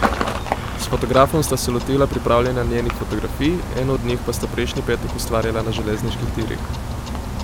S fotografom sta se lotila pripravljanja njenih fotografij, eno od njih pa sta prejšnji petek ustvarjala na železniških tirih.